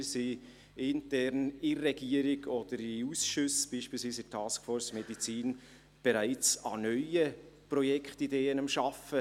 Wir sind intern – in der Regierung oder in Ausschüssen, beispielsweise in der Taskforce Medizin – bereits daran, an neuen Projektideen zu arbeiten.